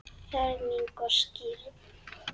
Ferming og skírn.